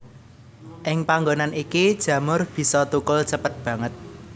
Ing panggonan iki jamur bisa thukul cepet banget